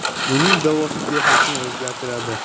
Uning da’vosi Texasni o‘zgartiradi.